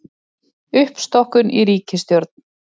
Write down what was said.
Uppstokkun í ríkisstjórn